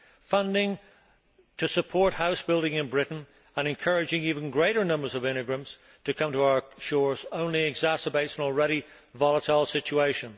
Funding to support house building in Britain, and encouraging even greater numbers of immigrants to come to our shores, only exacerbates an already volatile situation.